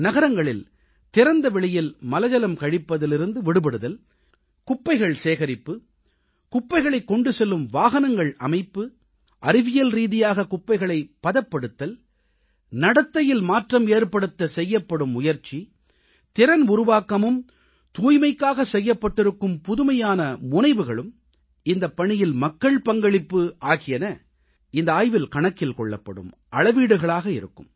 நகரங்களில் திறந்தவெளியில் மலஜலம் கழிப்பதிலிருந்து விடுபடுதல் குப்பைகள் சேகரிப்பு குப்பைகளைக் கொண்டு செல்லும் வாகனங்கள் அமைப்பு அறிவியல்ரீதியாக குப்பைகளைப் பதப்படுத்தல் நடத்தையில் மாற்றம் ஏற்படுத்த செய்யப்படும் முயற்சி திறன் உருவாக்கமும் தூய்மைக்காக செய்யப்பட்டிருக்கும் புதுமையான முனைவுகளும் இந்தப்பணியில் மக்கள் பங்களிப்பு ஆகியன இந்த ஆய்வில் கணக்கில் கொள்ளப்படும் அளவீடுகளாக இருக்கும்